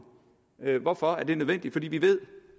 hvorfor er det nødvendigt fordi vi ved